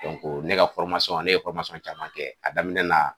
ne ka ne ye caman kɛ, a daminɛ na